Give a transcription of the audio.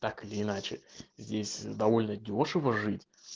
так или иначе здесь довольно дёшево жить